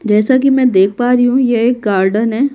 जैसा कि मैं देख पा रही हूँ ये एक गार्डन है।